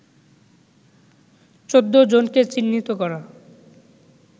১৪ জনকে চিহ্নিত করা